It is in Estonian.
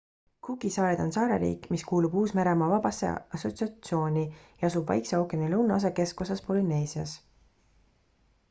cooki saared on saareriik mis kuulub uus-meremaa vabasse assotsiatsiooni ja asub vaikse ookeani lõunaosa keskosas polüneesias